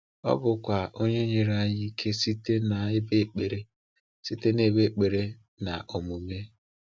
Ọ bụkwa Onye nyere anyị ike site n’ebe ekpere site n’ebe ekpere na omume.